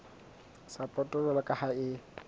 sapoto jwalo ka ha e